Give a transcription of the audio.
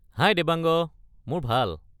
হাই দেৱাংগ! মোৰ ভাল।